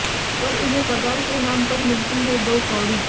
पर इन्हें पगार के नाम पर मिलती है दो कौडी